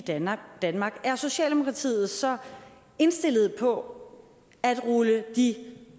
danmark er socialdemokratiet så indstillet på at rulle de